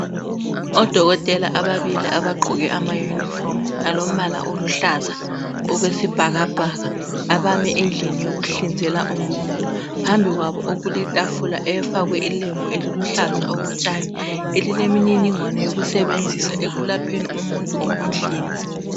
Odokotela ababili abagqoke amayunifomu alombala oluhlaza okwesibhakabhaka abame endlini yokuhlinzela umuntu. Phambili kwabo okuletafula efakwe ilembu eliluhlaza okotshani elilemininingwane yokusebenzisa ekulapheni umuntu ngokumhlinza.